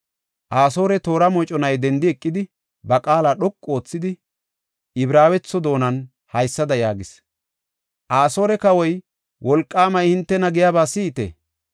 Asoore toora moconay dendi eqidi, ba qaala dhoqu oothidi, Ibraawetho doonan haysada yaagis; “Asoore kawoy wolqaamay hintena giyaba si7ite!